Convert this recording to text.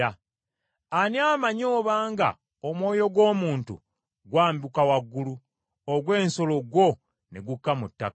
Ani amanyi obanga omwoyo gw’omuntu gwambuka waggulu, ogw’ensolo gwo ne gukka mu ttaka?”